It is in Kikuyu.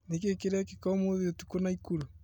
Nĩkĩĩ kĩrekĩka ũmũthĩ ũtukũ Naĩkurũ ?